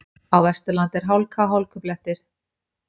Á Vesturlandi er hálka og hálkublettir